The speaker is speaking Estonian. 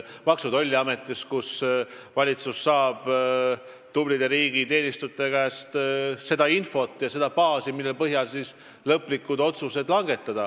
Need on kohad, kust valitsus saab tublide riigiteenistujate käest infot, mille põhjal langetada lõplikke otsuseid.